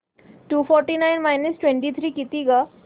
to forty nine minus twenty three किती गं